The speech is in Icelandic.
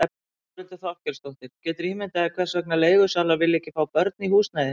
Þórhildur Þorkelsdóttir: Geturðu ímyndað þér hvers vegna leigusalar vilja ekki fá börn í húsnæði?